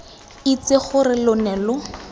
itse gore lo ne lo